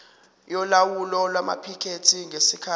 yolawulo lwamaphikethi ngesikhathi